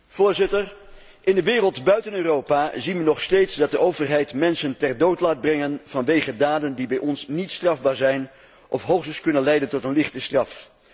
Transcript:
Voorzitter, in de wereld buiten Europa zien we nog steeds dat de overheid mensen ter dood laat brengen vanwege daden die bij ons niet strafbaar zijn of hoogstens kunnen leiden tot een lichte straf.